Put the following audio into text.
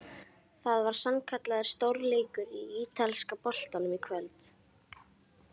Það var sannkallaður stórleikur í ítalska boltanum í kvöld!